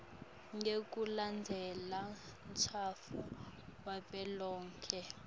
ngekulandzela umtsetfo wavelonkhe